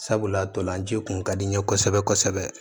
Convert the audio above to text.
Sabula ntolanci kun ka di n ye kosɛbɛ kosɛbɛ